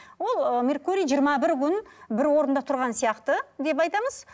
ол ыыы меркурий жиырма бір күн бір орында тұрған сияқты деп айтамыз